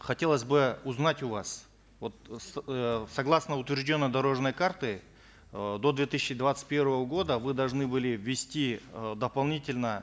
хотелось бы узнать у вас вот э согласно утвержденной дорожной карте э до две тысячи двадцать первого года вы должны были ввести э дополнительно